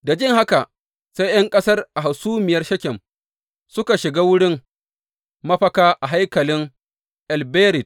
Da jin haka, sai ’yan ƙasa a hasumiyar Shekem suka shiga wurin mafaka a hankalin El Berit.